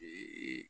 Ee